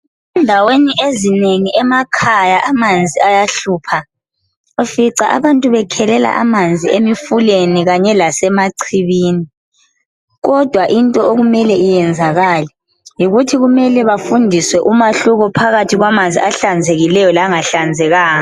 endaweni ezinengi emakhaya amanzi ayahlupha ufica abantu besikha amanzi emfuleni lasema chibini kodwa into okumele iyenzakale yikuthi bafundiswe umehlko phakathi kwamanzi ahlanzekileyo langahlanzekanga